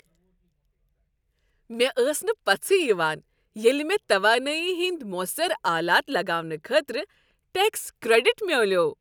مےٚ ٲس نہٕ پژھے یوان ییٚلہ مےٚ توانایی ہٕنٛدۍ موثر آلات لگاونہٕ خٲطرٕ ٹیکس کریڈٹ میلیوٚو۔